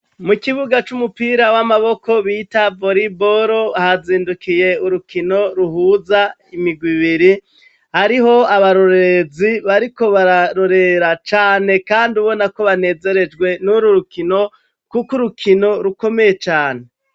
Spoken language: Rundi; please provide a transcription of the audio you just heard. Mu kibuga c'umupira w'amaboko bita voriboro, hazindukiye urukino ruhuza imigwi ibiri, hariho abarorerezi bariko bararorera cane kandi ubona ko banezerejwe n'uru rukino, kuko urukino rukomeye cane.